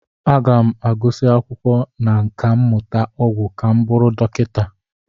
Aga m agụsị akwụkwọ na nkà mmụta ọgwụ ka m bụrụ dọkịta.